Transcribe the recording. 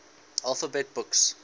alphabet books